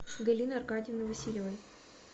галины аркадьевны васильевой